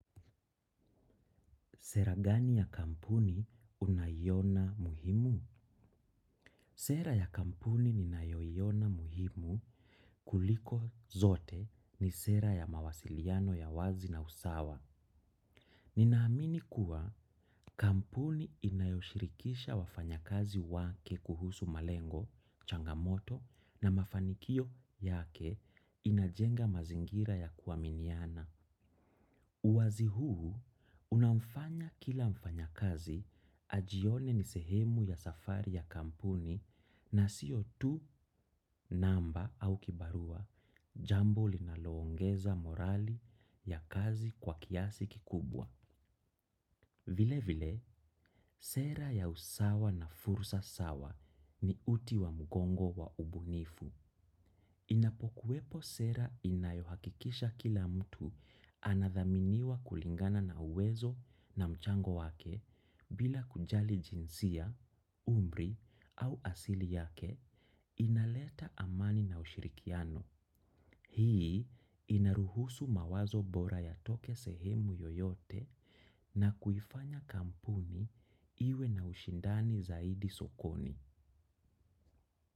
Sera gani ya kampuni unaiona muhimu? Sera ya kampuni ninayoiona muhimu kuliko zote ni sera ya mawasiliano ya wazi na usawa. Ninaamini kuwa kampuni inayoshirikisha wafanyakazi wake kuhusu malengo, changamoto na mafanikio yake inajenga mazingira ya kuaminiana. Uwazi huu, unamfanya kila mfanyakazi ajione ni sehemu ya safari ya kampuni na siyo tu, namba au kibarua, jambo linaloongeza morali ya kazi kwa kiasi kikubwa. Vile vile, sera ya usawa na fursa sawa ni uti wa mgongo wa ubunifu. Inapokuwepo sera inayohakikisha kila mtu anadhaminiwa kulingana na uwezo na mchango wake bila kujali jinsia, umri au asili yake inaleta amani na ushirikiano. Hii inaruhusu mawazo bora yatoke sehemu yoyote na kuifanya kampuni iwe na ushindani zaidi sokoni.